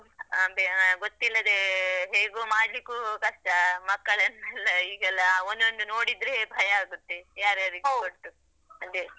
ಅಂದ್ರೆ ಗೊತ್ತಿಲ್ಲದೆ ಹೇಗೂ ಮಾಡ್ಲಿಕ್ಕೂ ಕಷ್ಟ, ಮಕ್ಕಳನ್ನೆಲ್ಲ ಈಗೆಲ್ಲಾ, ಒಂದೊಂದು ನೋಡಿದ್ರೆ ಭಯ ಆಗುತ್ತೆ, ಯಾರ್ಯಾರಿಗೆ . ಅದೆ.